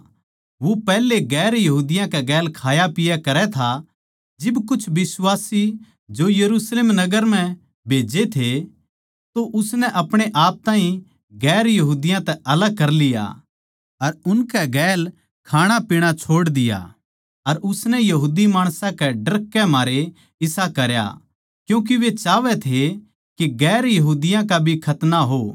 वो पैहले गैर यहूदियाँ कै गैल खायापिया करै था जिब कुछ बिश्वासी जो याकूब नै यरुशलेम नगर म्ह भेज्जे थे तो उसनै आपणेआप ताहीं गैर यहूदियाँ तै अलग कर लिया अर उनकै गैल खाणापीणा छोड़ दिया अर उसनै यहूदी माणसां के डरकै मारै इसा करया क्यूँके वे चाहवै थे के गैर यहूदियाँ का भी खतना हो